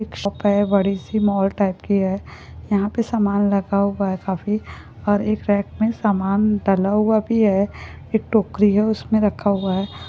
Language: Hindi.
एक शोप बड़ी सी मॉल टाइप की है यहां पे सामान रखा हुआ है काफी और एक रैक में सामान डला हुआ भी है एक टोकरी है उसमे रखा हुआ है।